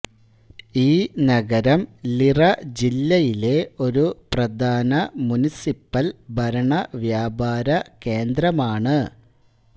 ഈ നഗരം ലിറ ജില്ലയിലെ ഒരു പ്രധാന മുനിസിപ്പൽ ഭരണ വ്യാപാര കേന്ദ്രമാണ്